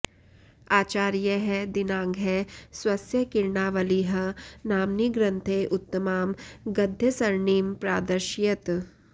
आचार्यःदिङ्नागः स्वस्य किरणावलिः नाम्नि ग्रन्थे उत्तमां गद्यसरणिं प्रादर्शयत्